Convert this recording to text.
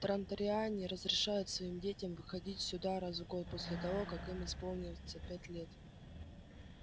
транториане разрешают своим детям выходить сюда раз в год после того как им исполнится пять лет